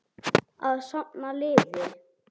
Að safna liði!